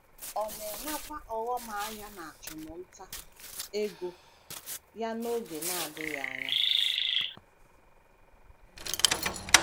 Ọ na - enwekwa ọghọm ahịa n’achụmnta ego ya n’oge na - adịghị anya.